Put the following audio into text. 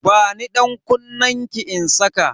Bani dankunnenki in saka